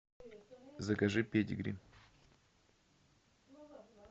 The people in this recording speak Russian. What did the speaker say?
закажи педигри